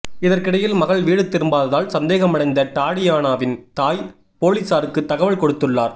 இதற்கிடையில் மகள் வீடு திரும்பாததால் சந்தேகமடைந்த டாடியானாவின் தாய் பொலிஸாருக்கு தகவல் கொடுத்துள்ளார்